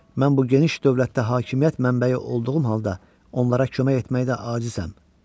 Mən bu geniş dövlətdə hakimiyyət mənbəyi olduğum halda onlara kömək etməkdə acizəm.